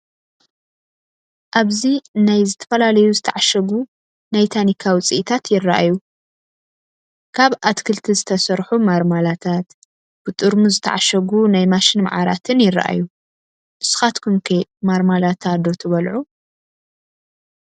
ኣብዚ ናይ ዝተፈላለዩ ዝተዓሸጉ ናይ ታኒካ ውፅኢታት ይራኣዩ፣ ካብ ኣትክልቲ ዝተሰርሑ ማርማላታት፣ ብጥርሙዝ ዝተዓሸጉ ናይ ማሽን ማዓራትን ይራኣዩ፡፡ ንስኻትኩም ከ ማርማላታ ዶ ትበልዑ?